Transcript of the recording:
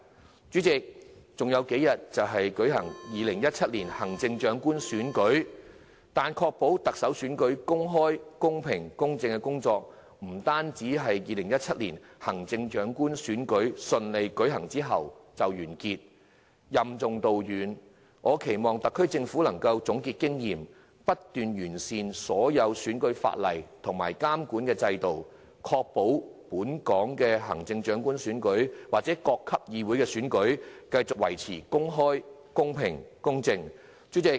代理主席，還有數天就舉行2017年行政長官選舉，但確保特首選舉公開、公平及公正的工作，不單是2017年行政長官選舉順利舉行之後就完結，我期望特區政府能任重道遠，總結經驗，不斷完善所有選舉法例及監管制度，確保本港的行政長官選舉或各級議會的選舉繼續保持公開、公平、公正。